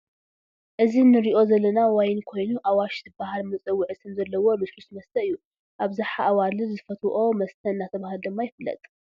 እዚ ንሪኦ ዘለና ዋይን ኮይኑ ኣዋሽ ዝበሃል መፀውዒ ስም ዘለዎ ልስሉስ መሰተ አብዝሓ ኣዋልድ ዝፈትዎኦ መ ስተ እናተበሃለ ድማ ይፍለጥ።